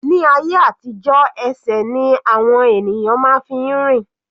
Ní ayé àtijó ẹsẹ̀ ni àwọn ènìyàn fi máa ń rìn.